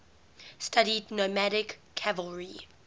studied nomadic cavalry